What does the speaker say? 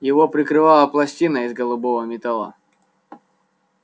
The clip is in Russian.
его прикрыла пластина из голубого металла